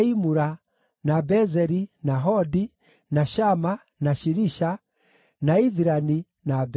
na Bezeri, na Hodi, na Shama, na Shilisha, na Ithirani, na Beera.